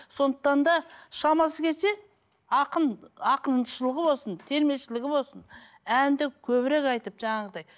сондықтан да шамасы келсе ақын ақыншылығы болсын термешілігі болсын әнді көбірек айтып жаңағыдай